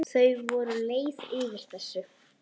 Þau voru leið yfir þessu.